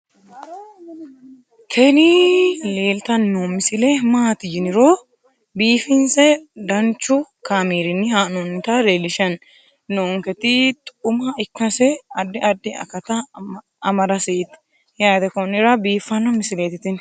tini leeltanni noo misile maaati yiniro biifinse danchu kaamerinni haa'noonnita leellishshanni nonketi xuma ikkase addi addi akata amadaseeti yaate konnira biiffanno misileeti tini